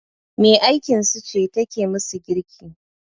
Me aikinsu ce take musu girki